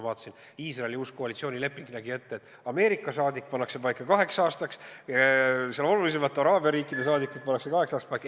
Näiteks Iisraeli uus koalitsioonileping näeb ette, et Ameerika saadik pannakse paika kaheks aastaks ja olulisemate araabia riikide saadikud pannakse paika kaheks aastaks paika.